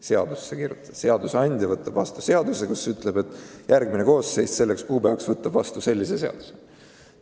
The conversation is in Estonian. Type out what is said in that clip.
Seadusandja tahab võtta vastu seaduse, kus ütleb, et järgmine koosseis selleks kuupäevaks võtab vastu sellise ja sellise seaduse.